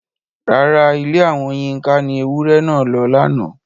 Rárá, Ilé àwọn Yinka ni ewúrẹ́ náà lọ lánàá.